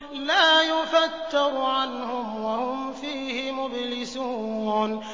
لَا يُفَتَّرُ عَنْهُمْ وَهُمْ فِيهِ مُبْلِسُونَ